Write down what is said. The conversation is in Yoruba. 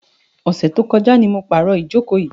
Ọ̀sẹ̀ tí ó kọjá ni mo pàrò ìjókò yìí.